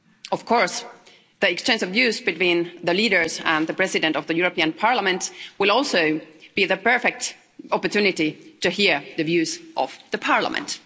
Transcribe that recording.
Of course, the exchange of views between the leaders and the President of the European Parliament will also be the perfect opportunity to hear the views of the Parliament.